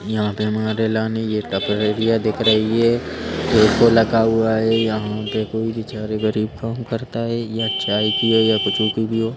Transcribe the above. यहाँ पे हमारे लाने यह टपरेरिया दिख रही है एको लगा हुआ है यहाँ पे कोई बेचारे गरीब काम करता है या चाय की हो या कुछु की भी हो।